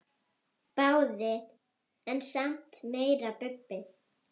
Báðir en samt meira Bubbi.